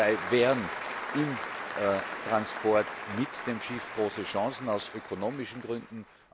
Dabei lägen im Transport mit dem Schiff große Chancen aus ökonomischen Gründen.